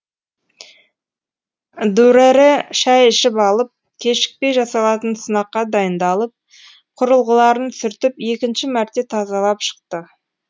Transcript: дүрэрэ шай ішіп алып кешікпей жасалатын сынаққа дайындалып құрылғыларын сүртіп екінші мәрте тазалып шықты